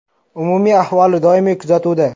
Umumiy ahvoli doimiy kuzatuvda.